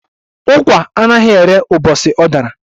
Ukwa anaghi érè ubosi ọ dara